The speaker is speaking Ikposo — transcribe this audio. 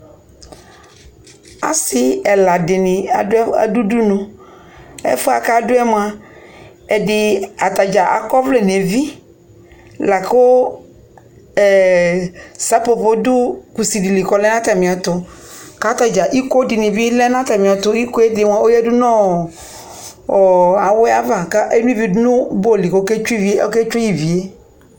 asi ɛla di ni ado udunu ɛfuɛ ko ado moa ɛdi atadza akɔ ɔvlɛ no evi la ko ɛ sepopo do kusi di li ko ɔdo atamiɛ to ko atadza iko di ni bi lɛ no atami ɛto ikoe di moa oyadu no awɛ ava ko eno ivi do no bowl li ko oketsue yi ivie